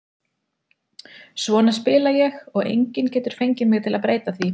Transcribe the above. Svona spila ég og enginn getur fengið mig til að breyta því.